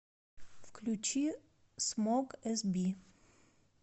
включи смок эсби